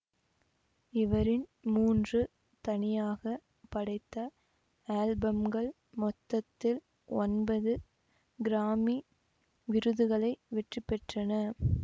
இவரின் மூன்று தனியாக படைத்த ஆல்பம்கள் மொத்தத்தில் ஒன்பது கிராமி விருதுகளை வெற்றிபெற்றன